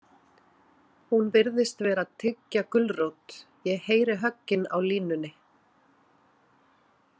Hún virðist vera að tyggja gulrót, ég heyri höggin á línunni.